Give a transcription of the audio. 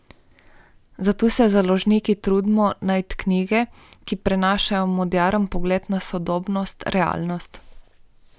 Zato se založniki trudimo najti knjige, ki prenašajo moderen pogled na sodobnost, realnost.